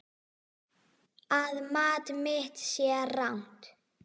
Að mat mitt sé rangt.